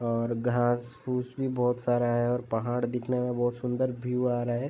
और घास फुस भी बोहोत सारा है और पहाड़ दिखने में बोहोत सुन्दर भ्यू आ रहा है।